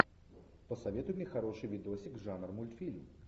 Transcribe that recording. посоветуй мне хороший видосик жанр мультфильм